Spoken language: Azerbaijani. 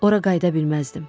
Ora qayıda bilməzdim.